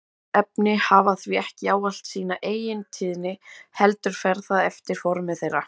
Föst efni hafa því ekki ávallt sína eigintíðni heldur fer það eftir formi þeirra.